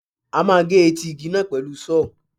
A máa gé etí igi náà pẹ̀lú Sọ́ọ̀.